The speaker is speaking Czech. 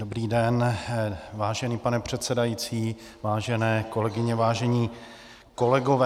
Dobrý den, vážený pane předsedající, vážené kolegyně, vážení kolegové.